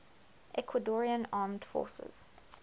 ecuadorian armed forces